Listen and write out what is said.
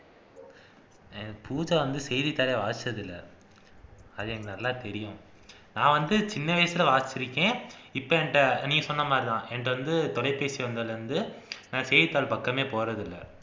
பூஜா வந்து செய்திதாளே வாசிச்சது இல்ல அது எனக்கு நல்லா தெரியும் நான் வந்து சின்ன வயசுல வாசிச்சு இருக்கேன் இப்ப என்கிட்டே நீங்க சொன்ன மாதிரிதான் என்கிட்டே வந்து தொலைபேசி வந்ததுல இருந்து நான் செய்தித்தாள் பக்கமே போறதில்லை